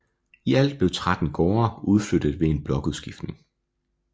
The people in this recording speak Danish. I alt blev 13 gårde udflyttet ved en blokudskiftning